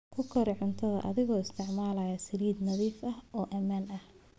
Ku kari cunto adigoo isticmaalaya saliid nadiif ah oo ammaan ah.